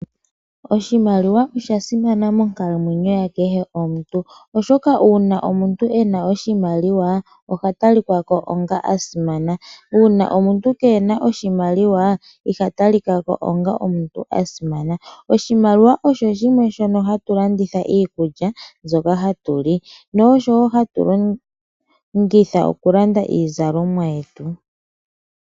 Oshimaliwa osha simana monkalamweyo ya kehe omuntu, oshoka uuna omuntu ena oshimaliwa oha talika ko onga as simana. Uuna omuntu kena oshimaliwa iha talika ko onga omuntu a simana. Oshimaliwa osho shimwe shono hatu landitha iikulya mbyoka hatu li, noshowo hatu longitha okulanda iizalomwa yetu.